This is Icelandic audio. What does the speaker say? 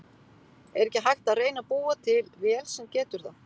Er ekki hægt að reyna að búa til vél sem getur það?